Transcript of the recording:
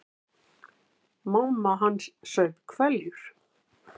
Mamma hans saup hveljur.